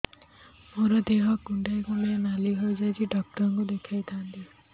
ମୋର ଦେହ କୁଣ୍ଡେଇ କୁଣ୍ଡେଇ ନାଲି ହୋଇଯାଉଛି ଡକ୍ଟର ଦେଖାଇ ଥାଆନ୍ତି